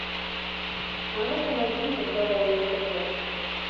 а ну ка найди мне здоровое тв